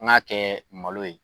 An ga kɛ malo ye